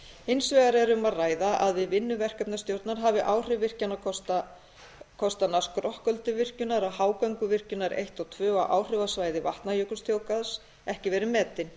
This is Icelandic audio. hins vegar er um að ræða að við vinnu verkefnastjórnar hafi áhrif virkjunarkostanna skrokkölduvirkjunar og hágönguvirkjunar eins og tvö og áhrifasvæði vatnajökulsþjóðgarðs ekki verið metin